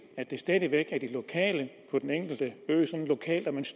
at det stadig væk er de lokale på den enkelte ø og